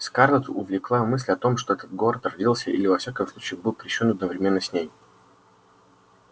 скарлетт увлекала мысль о том что этот город родился или во всяком случае был крещён одновременно с ней